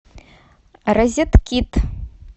розеткит